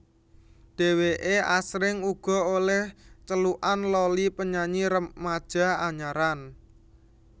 Dhèwèké asring uga olèh celukan Loli penyanyi remaja anyaran